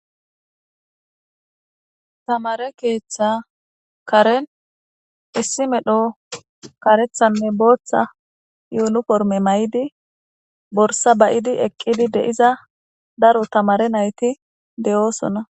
Tamare keeththa karen issi medho karethanne booththa yuulu korme may7idi borsa bayidi eqqidi deiza daro tamare nayti de'oosona.